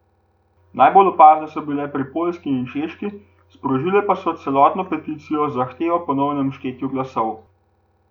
Najbolj so bile opazne pri Poljski in Češki, sprožile pa so celo peticijo z zahtevo po ponovnem štetju glasov.